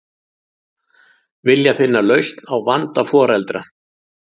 Vilja finna lausn á vanda foreldra